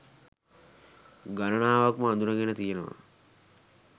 ගණනාවක්ම අඳුනගෙන තියෙනවා.